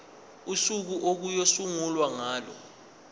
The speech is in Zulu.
usuku okuyosungulwa ngalo